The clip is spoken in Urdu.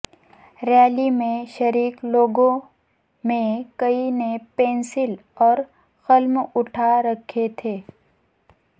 ریلی میں شریک لوگوں میں کئی نے پنسل اور قلم اٹھا رکھے تھے